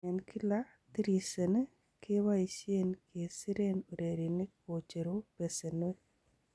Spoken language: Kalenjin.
En kila tiriseni keboisien kesiren ureriniik kocheru besenwek.